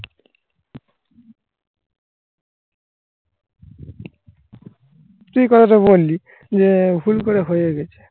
তুই কথাটা বললি যে ভুল করে হয়ে গেছিস